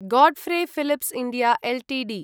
Godfrey Phillips India Ltd